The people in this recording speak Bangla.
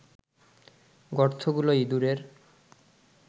গর্তগুলো ইঁদুরের